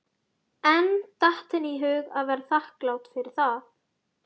En datt henni í hug að vera þakklát fyrir það?